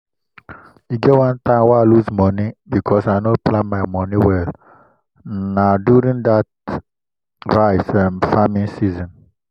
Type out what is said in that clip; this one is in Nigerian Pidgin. e get one time wey i lose money because i no plan my money well n na during dat rice um farming season.